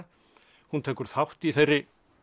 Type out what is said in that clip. hún tekur þátt í þeirri